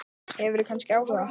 Hefurðu kannski áhuga?